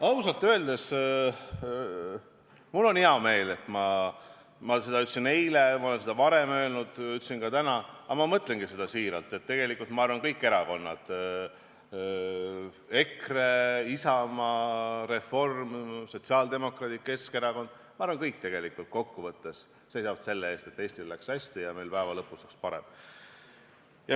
Ausalt öeldes on mul hea meel, nagu ma ütlesin ka eile, olen varem öelnud ja ütlesin ka täna – ma mõtlengi seda siiralt –, et kõik erakonnad, st EKRE, Isamaa, Reformierakond, sotsiaaldemokraadid ja Keskerakond – seisavad kokku võttes selle eest, et Eestil läheks hästi ja meie elu oleks lõppude lõpuks parem.